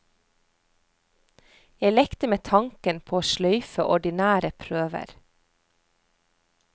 Jeg lekte med tanken på å sløyfe ordinære prøver.